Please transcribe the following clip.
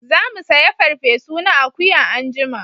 Za mu saya farfe su na akuya anjima